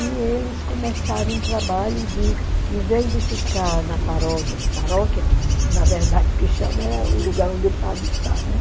E eles começaram um trabalho de, em vez de ficar na paróquia, paróquia, na verdade, o que chama é o lugar onde o padre está, né?